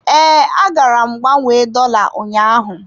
Ee, agara m gbanwee dola ụnyaahụ.